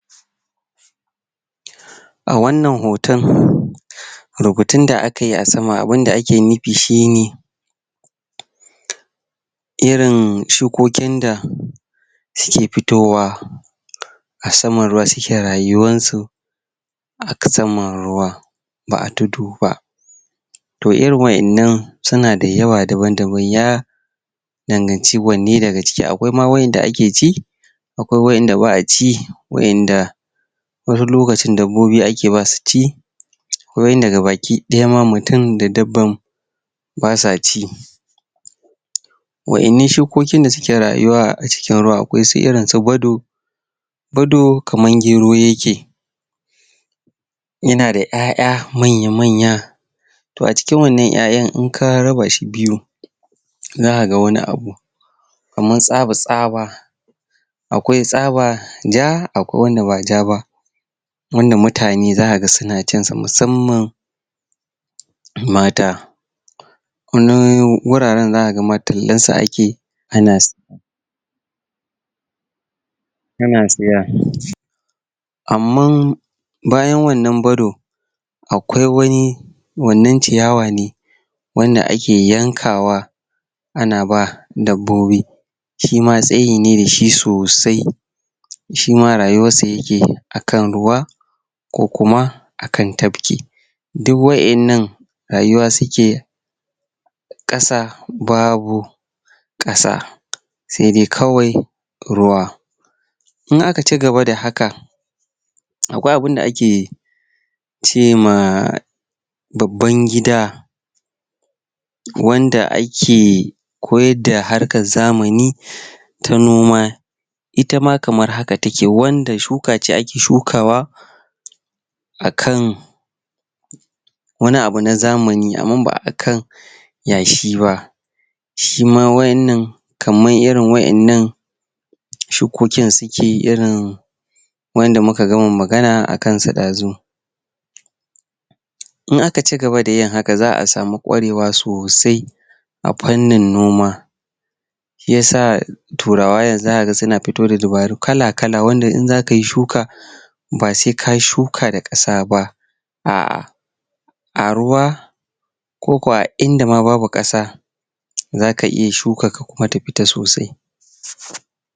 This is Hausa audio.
a wannan hoto rubutun da akayi a sama abun da ake nufi shine irin shukokin da suke fitowa a saman ruwa suke rayuwar su a saman ruwan ba tudu ba to irin waƴannan suna da yawa daban daban ya danganci wanne daga ciki akwai ma waƴanda ake ci akwai waƴanda ba'a ci waƴanda wani lokacin dabboi ake ba suci wani gabaki ɗaya mutum da dabba basa ci waƴannan shukokin da suke rayuwa a cikin ruwa akwai su irin su gwado gwado kamar gero yake yana da ƴaƴa manya manya to a cikin wannan ƴaƴan inka raba shi biyu zaka ga wani abu kaman tasba tsaba akwai tsaba ja akwai wanda ba ja ba wanda mutane zakaga suna cin sa musammam mata wani guraren zakaga ma tallansa ake ana ana siya amman bayan wannan bado akwai wani wannan ciyawa ne wanda ake yankawa ana ba dabbobi shima tsayi ne dashi sosai shima rayuwar sa yake akan ruwa ko kuma akan tafki duk waƴannan rayuwa suke ƙasa babu ƙasa sedai kawai ruwa in aka ci gaba da haka akwai abun da ake cema babban gida wanda ake koyar da harkar zamani ta noma ita ma kamar haka take wanda shuka ce ake shukawa akan wani abu na zamani amma ba akan yashi ba shima wannan kamar irin waƴannan shukokin suke irin waƴanda muka gama magana akan su ɗazu in aka ci gaba da yin haka za'a samu ƙwarewa sosai a fannin noma shiyasa turawa yanzu zaka ga suna fito da dabaru kala kala wanda in zakayi shuka ba se kayi shuka da ƙasa ba a a ruwa koko a inda ma babu ƙasa zaka iya shukar ka kuma ta fita sosai